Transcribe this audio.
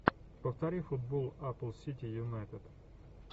повтори футбол апл сити юнайтед